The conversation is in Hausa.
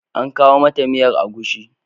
An kawo mata miyar agushi.